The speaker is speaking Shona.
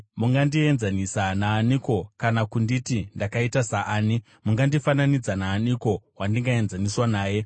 “Mungandienzanisa naaniko kana kunditi ndakaita saani? Mungandifananidza naaniko wandingaenzaniswa naye?